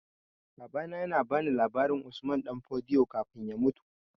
Babana ya ba ni labarin Usman Danfodio kafin ya mutu